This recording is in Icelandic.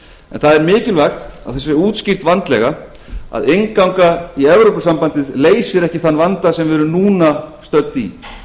en það er mikilvægt að það sé útskýrt vandlega að innganga í evrópusambandið leysir ekki þann vanda sem við erum núna stödd í